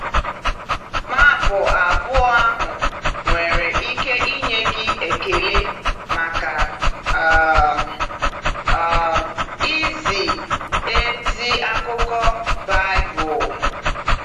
Map abụọ ahụ nwere ike inye gị ekele maka um um izi ezi akụkọ Baịbụl.